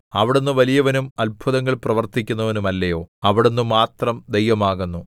അവിടുന്ന് വലിയവനും അത്ഭുതങ്ങൾ പ്രവർത്തിക്കുന്നവനുമല്ലയോ അവിടുന്ന് മാത്രം ദൈവമാകുന്നു